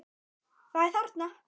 Það er þarna!